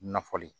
Nafolo